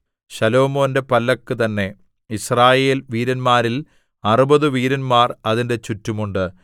ശലോമോന്റെ പല്ലക്ക് തന്നെ യിസ്രായേൽ വീരന്മാരിൽ അറുപത് വീരന്മാർ അതിന്റെ ചുറ്റും ഉണ്ട്